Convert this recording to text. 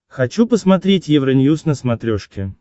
хочу посмотреть евроньюз на смотрешке